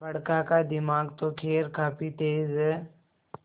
बड़का का दिमाग तो खैर काफी तेज है